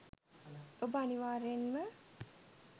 ඔබ අනිවාර්යයෙන් ම